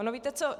Ono víte co?